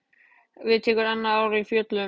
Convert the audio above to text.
Við tekur annað ár á fjöllum.